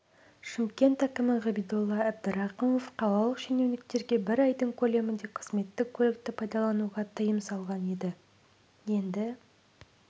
шымкент әкімі ғабидолла әбдірақымов қалалық шенеуніктерге бір айдың көлемінде қызметтік көлікті пайдалануға тыйым салған еді енді